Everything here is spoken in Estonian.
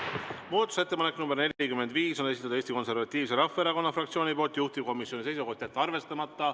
Muudatusettepaneku nr 45 on esitanud Eesti Konservatiivse Rahvaerakonna fraktsioon, juhtivkomisjoni seisukoht on jätta see arvestamata.